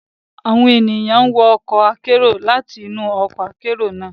Awọn ènìyàn n wọ ọkọ akero lati inu ọkọ akero naa